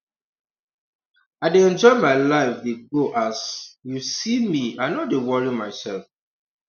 i dey enjoy my life dey go as um you see me i no dey worry myself